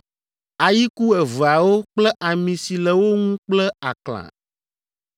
ayiku eveawo kple ami si le wo ŋu kple aklã.